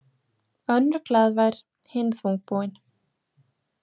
Önnur glaðvær, hin þungbúin.